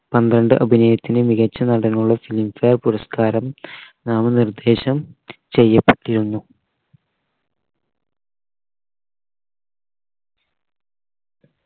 പന്ത്രണ്ട് അഭിനയത്തിന് മികച്ച നടനുള്ള film fare പുരസ്‌കാരം നാമനിർദ്ദേശം ചെയ്യപ്പെട്ടിരുന്നു